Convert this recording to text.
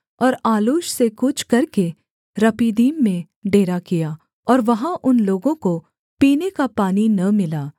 और आलूश से कूच करके रपीदीम में डेरा किया और वहाँ उन लोगों को पीने का पानी न मिला